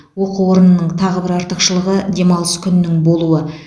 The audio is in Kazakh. оқу орнының тағы бір артықшылығы демалыс күнінің болуы